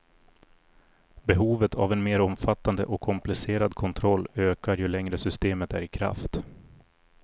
Behovet av en mer omfattande och komplicerad kontroll ökar ju längre systemet är i kraft.